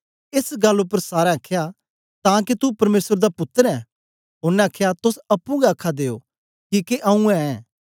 एस गल्ल उपर सारें आखया तां के तू परमेसर दा पुत्तर ऐं ओनें आखया तोस अप्पुं गै आखा दे ओ किके आऊँ ऐं